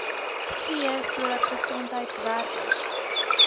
gee sodat gesondheidwerkers